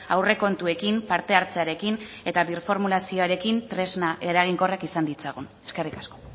aurrekontuekin parte hartzearekin eta birformulazioarekin tresna eraginkorrak izan ditzagun eskerrik asko